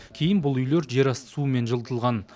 кейін бұл үйлер жер асты суымен жылытылған